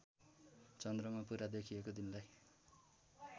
चद्रमा पुरा देखिएको दिनलाई